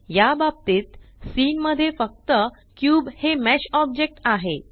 या बाबतीत सीन मध्ये फक्त क्यूब हे मेश ऑब्जेक्ट आहे